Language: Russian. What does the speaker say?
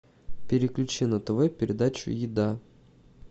переключи на тв передачу еда